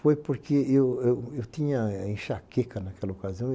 Foi porque eu tinha enxaqueca naquela ocasião.